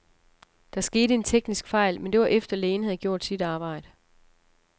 Der skete en teknisk fejl, men det var efter, lægen havde gjort sit arbejde.